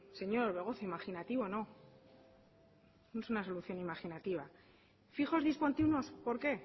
señor orbegozo imaginativo no no es una solución imaginativa fijos discontinuos por qué